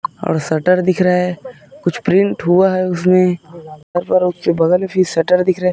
और शटर दिख रहा है कुछ प्रिंट हुआ है उसमें और फिर उसके बगल में भी शटर दिख रहा --